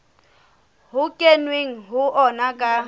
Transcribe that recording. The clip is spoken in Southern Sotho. ho kenweng ho ona ka